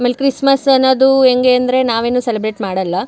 ಆಮೇಲೆ ಕ್ರಿಸ್ಮಸ್ ಏನದು ಹೆಂಗೆ ಅಂದ್ರೆ ನಾವೇನೂ ಸೆಲೆಬ್ರೇಟ್ ಮಾಡಲ್ಲ.